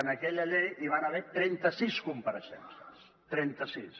en aquella llei hi van haver trenta sis compareixences trenta sis